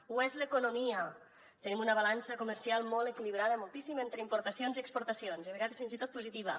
ho és l’economia tenim una balança comercial molt equilibrada moltíssim entre importacions i exportacions i a vegades fins i tot positiva